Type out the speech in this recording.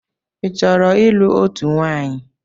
Ị chọrọ ịlụ otú nwaanyị?